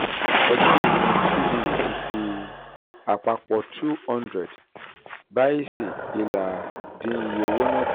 ọdún yìí ni cbe ti fi um àpapọ̀ two hundred báìsì ìlà dín iye owó náà kù.